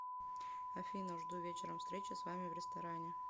афина жду вечером встречи с вами в ресторане